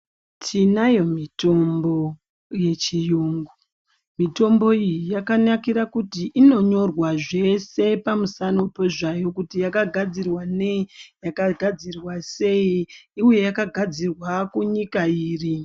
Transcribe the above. Tinayo mitombo yechirungu mitombo iyi yakanakira kuti inonyorwa zveshe pamusano pezvayo kuti yakagadzirwa nei yakagadzirwa sei uye yakagadzirwa kunyika iri.